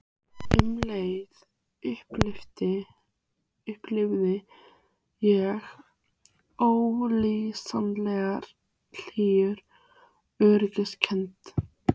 Um leið upplifði ég ólýsanlega hlýja öryggiskennd.